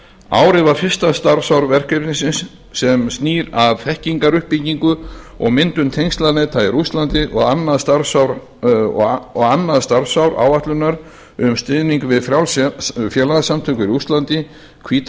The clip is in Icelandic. árið var fyrsta starfsár verkefnis sem snýr að þekkingaruppbyggingu og myndun tengslaneta í rússlandi og annað starfsár áætlunar um stuðning við frjáls félagasamtök í rússlandi hvíta